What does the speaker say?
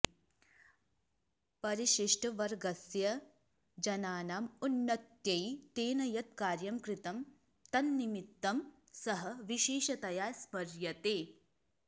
परिशिष्टवर्गस्य जनानाम् उन्नत्यै तेन यत् कार्यं कृतं तन्निमित्तं सः विशेषतया स्मर्यते